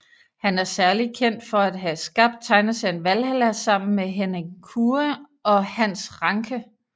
Han er særlig kendt for at have skabt tegneserien Valhalla sammen med Henning Kure og Hans Rancke